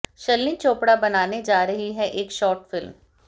शर्लिन चोपड़ा बनाने जा रही हैं एक शॉर्ट फिल्म